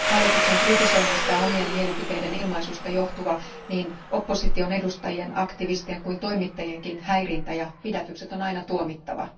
Hallituksen kritisoinnista, omien mielipiteiden ilmaisusta johtuva niin opposition edustajien, aktivistien kuin toimittajienkin häirintä ja pidätykset on aina tuomittava.